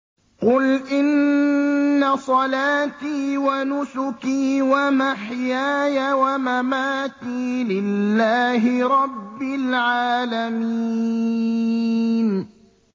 قُلْ إِنَّ صَلَاتِي وَنُسُكِي وَمَحْيَايَ وَمَمَاتِي لِلَّهِ رَبِّ الْعَالَمِينَ